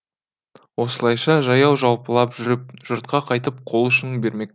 осылайша жаяу жалпылап жүріп жұртқа қайтіп қол ұшын бермек